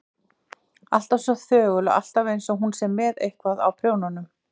Alltaf svo þögul og alltaf einsog hún sé með eitthvað á prjónunum.